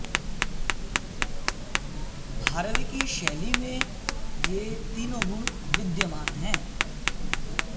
भारवि की शैली में ये तीनों गुण विद्यमान हैं